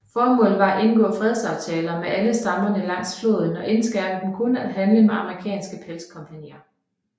Formålet var at indgå fredsaftaler med alle stammerne langs floden og indskærpe dem kun at handle med amerikanske pelskompagnier